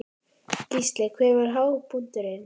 Gísli: Hver var hápunkturinn?